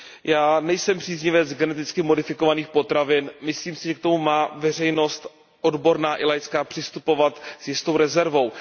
Já nejsem příznivcem geneticky modifikovaných potravin, myslím si, že k tomu má veřejnost oborná i laická přistupovat s jistou rezervou.